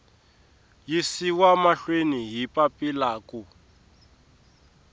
yisiwa mahlweni hi papila ku